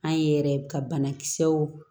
An ye yɛrɛ ka banakisɛw